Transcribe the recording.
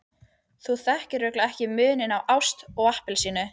Þú þekkir örugglega ekki muninn á ást og appelsínu.